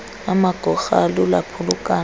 amagorha alula aphulukana